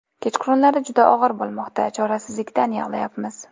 Kechqurunlari juda og‘ir bo‘lmoqda, chorasizlikdan yig‘layapmiz.